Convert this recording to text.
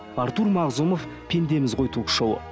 артур мағзумов пендеміз ғой ток шоуы